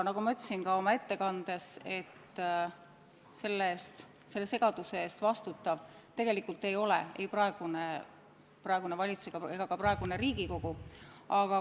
Nagu ma ütlesin ka oma ettekandes, selle segaduse eest tegelikult ei vastuta ei praegune valitsus ega ka praegune Riigikogu.